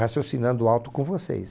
Raciocinando alto com vocês.